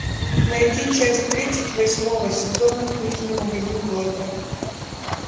найти часть тридцать восьмого сезона книжный магазин блэка